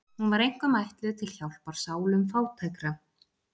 Hún var einkum ætluð til hjálpar sálum fátækra.